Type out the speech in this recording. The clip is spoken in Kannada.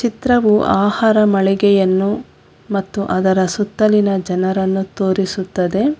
ಚಿತ್ರವು ಆಹಾರ ಮಳಿಗೆಯನ್ನು ಮತ್ತು ಅದರ ಸುತ್ತಲಿನ ಜನರನ್ನು ತೋರಿಸುತ್ತದೆ.